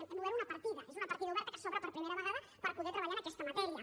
hem obert una partida és una partida oberta que s’obre per primera vegada per poder treballar en aquesta matèria